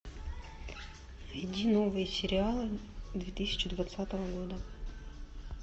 найди новые сериалы две тысячи двадцатого года